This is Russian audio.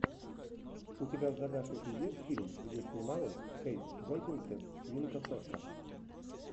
у тебя в загашнике есть фильм где снималась кейт бекинсейл свинка пеппа